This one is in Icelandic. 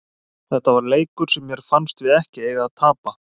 Þetta var leikur sem mér fannst við ekki eiga að tapa.